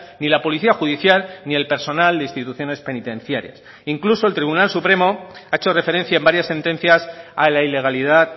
ni la policía judicial ni el personal de instituciones penitenciarias incluso el tribunal supremo ha hecho referencia en varias sentencias a la ilegalidad